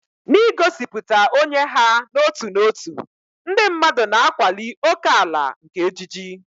N'igosipụta onye ha n'otu n'otu, ndị mmadụ na-akwali ókèala nke ejiji.